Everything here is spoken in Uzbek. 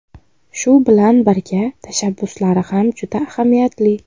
Shu bilan birga, tashabbuslari ham juda ahamiyatli.